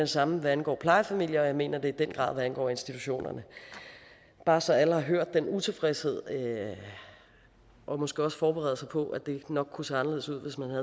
samme hvad angår plejefamilier og jeg mener det i den grad hvad angår institutionerne bare så alle har hørt den utilfredshed og måske også forbereder sig på at det nok kunne se anderledes ud hvis man